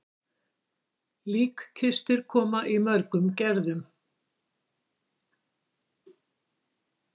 Líkkistur koma í mörgum gerðum.